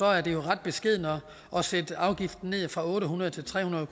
at det er ret beskedent at sætte afgiften ned fra otte hundrede til tre hundrede